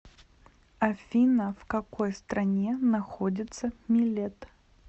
афина в какой стране находится милет